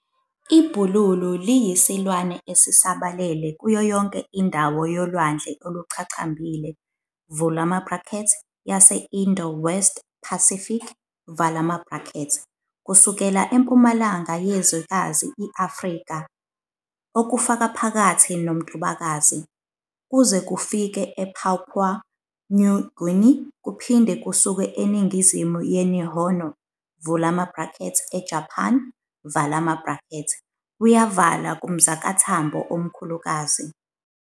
IBhululu liyisilwane esisabalele kuyo yonke indawo yolwandle oluchachambhile, yase-Indo-West Pacific, kusukela empumalanga yezwekazi iAfrika, okufakaphakathi noMtubakazi, kuze kufike ePapua New Guinea kuphinde kusuke eningizimu yeNihono, eJapan, kuyavala kuMzakathambho omkhulukazi.